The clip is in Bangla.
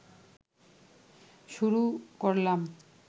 শুরু করলাম